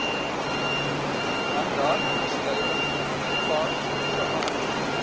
mandaatverskuiwing gepaard gegaan